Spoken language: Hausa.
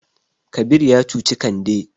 Kabir ya cuci Kande.